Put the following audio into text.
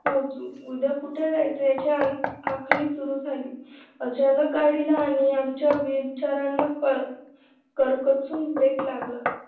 पोहोचू उद्या कुठे जायचं याची आखणी सुरू झाली. अचानक गाडीला आणि आमच्या वीर चेहऱ्यांना करकचून break लागला